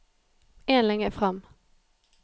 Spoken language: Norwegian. En linje fram